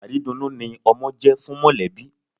Àrídunnú ni ọmọ jẹ́ fún mọ̀lẹ́bí.